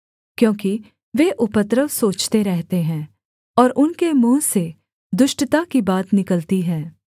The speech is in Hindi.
क्योंकि वे उपद्रव सोचते रहते हैं और उनके मुँह से दुष्टता की बात निकलती है